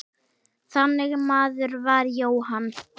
Þannig maður var Jóhann.